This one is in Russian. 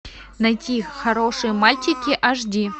найти хорошие мальчики аш ди